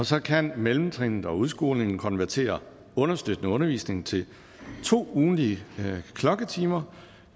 så kan mellemtrinet og udskolingen konvertere understøttende undervisning til to ugentlige klokketimer